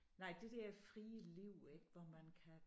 Nej det der frie liv ik hvor man kan